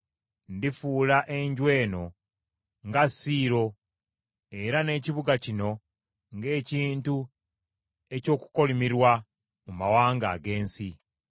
ndifuula enju eno nga Siiro era n’ekibuga kino ng’ekintu eky’okukolimirwa mu mawanga ag’ensi.’ ”